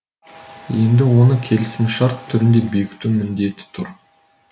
енді оны келісімшарт түрінде бекіту міндеті тұр